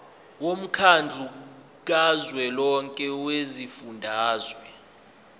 womkhandlu kazwelonke wezifundazwe